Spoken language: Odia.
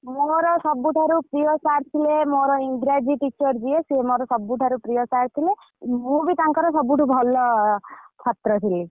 ମୋର ସବୁଠାରୁ ପ୍ରିୟ sir ଥିଲେ ମୋର ଇଂରାଜୀ teacher ଯିଏ ସିଏ ମୋର ସବୁଠାରୁ ପ୍ରିୟ sir ଥିଲେ ମୁ ବି ତାଙ୍କର ସବୁଠାରୁ ଭଲ ଛାତ୍ର ଥିଲି।